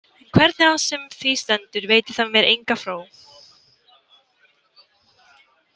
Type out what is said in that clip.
En hvernig sem á því stendur veitir það mér enga fró.